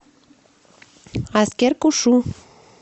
аскер кушу